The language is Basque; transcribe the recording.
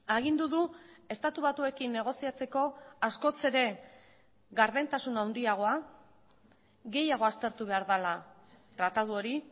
agindu du estatu batuekin negoziatzeko askoz ere gardentasun handiagoa gehiago aztertu behar dela tratatu hori